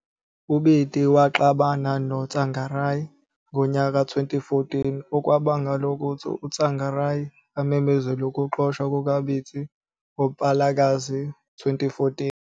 UBiti waxabana loTsvangirai ngomnyaka ka2014, okwabangela ukuthi uTsvangirai amemezele ukuxotshwa kukaBiti ngoMpalakazi 2014.